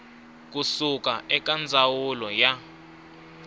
ku suka eka ndzawulo ya